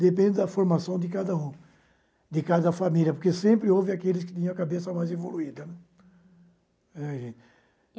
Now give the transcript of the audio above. Depende da formação de cada um, de cada família, porque sempre houve aqueles que tinham a cabeça mais evoluída, né. uhum é gente